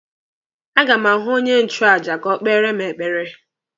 A ga m ahụ onye nchụaja ka o kpere mụ ekpere.